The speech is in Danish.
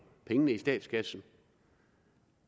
pengene i statskassen